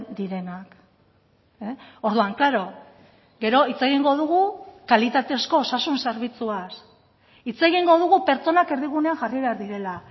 direnak orduan klaro gero hitz egingo dugu kalitatezko osasun zerbitzuaz hitz egingo dugu pertsonak erdigunean jarri behar direla